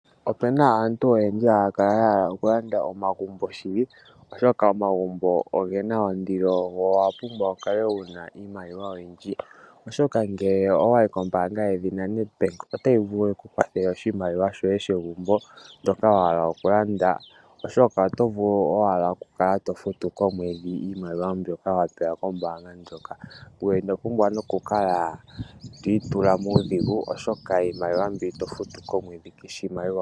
Opuna aantu oyendji haya kala yahala okulanda omagumbo shili, oshoka omagumbo ogena ondilo go owapumbwa wukale wuna iimaliwa oyindji. Ngele owayi koombaanga yedhina Netbank otayi vulu yiku kwathele oshimaliwa shoye shegumbo ndjoka wahala oku landa, eto kala tofutuko komwedhi iimaliwa mbyoka wapewa kombaanga.